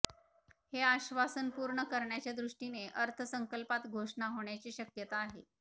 हे आश्वासन पूर्ण करण्याच्या दृष्टीने अर्थसंकल्पात घोषणा होण्याची शक्यता आहे